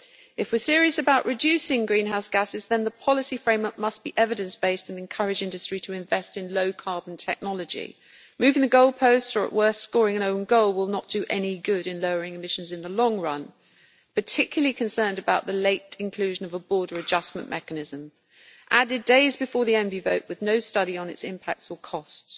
If we are serious about reducing greenhouse gases, then the policy framework must be evidence based and encourage industry to invest in low carbon technology. Moving the goalposts or, at worst, scoring an own goal, will not do any good in lowering emissions in the long run. We are particularly concerned about the late inclusion of a border adjustment mechanism, added days before the vote in the Environment Committee, with no study on its impacts or costs.